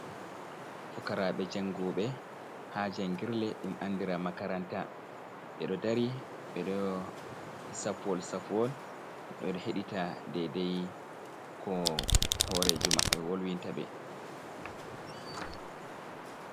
Fukarabe jangube ha jangirle, ɗum anɗira makaranta. be ɗo ɗari be ɗo saffuwol saffuwol. Beɗo heɗita ɗaidai ko horejo mabbe wolwinta be.